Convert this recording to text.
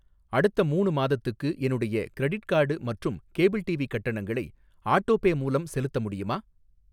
அடுத்த மூணு மாதத்துக்கு என்னுடைய கிரெடிட் கார்டு மற்றும் கேபிள் டிவி கட்டணங்களை ஆட்டோபே மூலம் செலுத்த முடியுமா?